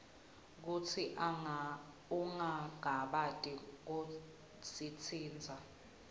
kutsi ungangabati kusitsintsa